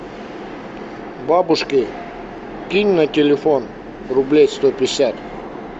бабушке кинь на телефон рублей сто пятьдесят